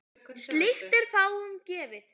Slíkt er fáum gefið.